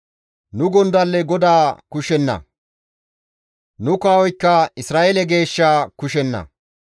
Nu gondalley GODAA kushenna; nu kawoykka Isra7eele geeshsha kushenna.